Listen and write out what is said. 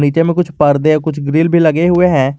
नीचे में कुछ पर्दे औ कुछ ग्रिल भी लगे हुए हैं।